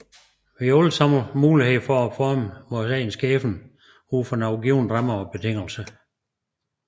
Vi har alle muligheden for at forme vor egen skæbne ud fra nogle givne rammer og betingelser